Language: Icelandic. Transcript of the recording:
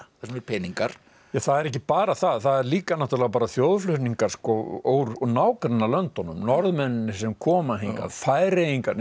þar sem eru peningar það er ekki bara það það er líka náttúrulega bara þjóðflutningar úr nágrannalöndunum norðmennirnirnir sem koma hingað Færeyingarnir